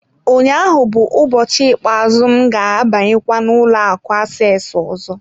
Ụnyaahụ bụ ụbọchị ikpeazụ m ga-abanyekwa ụlọ akụ aseesi ọzọ.